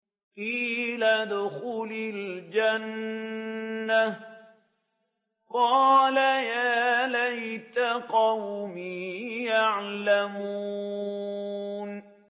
قِيلَ ادْخُلِ الْجَنَّةَ ۖ قَالَ يَا لَيْتَ قَوْمِي يَعْلَمُونَ